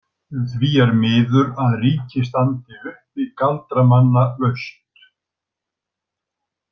Því er miður að ríkið standi uppi galdramannalaust.